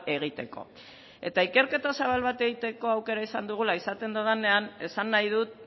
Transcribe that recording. egiteko eta ikerketa zabal bat egiteko aukera izan dugula esaten dudanean esan nahi dut